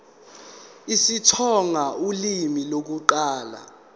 isitsonga ulimi lokuqala